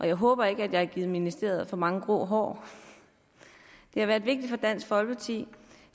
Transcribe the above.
jeg håber ikke at jeg har givet ministeriet for mange grå hår det har været vigtigt for dansk folkeparti